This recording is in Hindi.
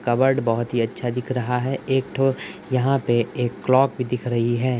कबर्ड बोहत ही अच्छा दिख रहा है। एक ठो यहां पे एक क्लॉक भी दिख रही है।